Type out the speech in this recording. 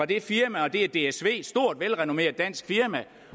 det firma det er dsv et stort velrenommeret dansk firma og